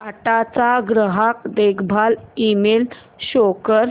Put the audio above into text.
टाटा चा ग्राहक देखभाल ईमेल शो कर